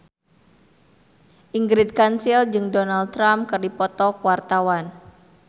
Ingrid Kansil jeung Donald Trump keur dipoto ku wartawan